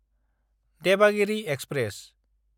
Devagiri express